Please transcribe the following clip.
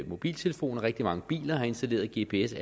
mobiltelefoner rigtig mange biler har allerede installeret gps